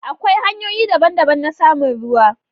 Akwai hanyoyi daban-daban na samun ruwa.